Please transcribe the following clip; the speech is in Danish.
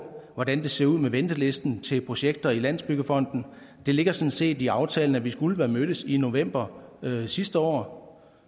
hvordan det ser ud med ventelisten til projekter i landsbyggefonden det ligger sådan set i aftalen at vi skulle have mødtes i november sidste år